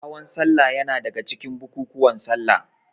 Hawan salla yana daga cikin bukukuwan salla.